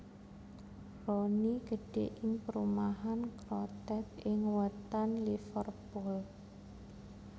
Rooney gedhè ing perumahan Croxteth ing wètan Liverpool